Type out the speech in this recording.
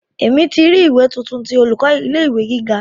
Emi ti ri ìwé tuntun ti olùkọ́ ilé ìwé gíga.